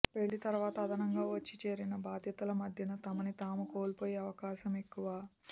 పెళ్లి తరువాత అదనంగా వచ్చి చేరిన బాధ్యతల మధ్యన తమని తాము కోల్పోయే అవకాశం ఎక్కువ